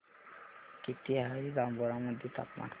किती आहे जांभोरा मध्ये तापमान